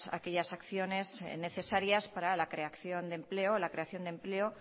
aquellas acciones necesarias para la creación de empleo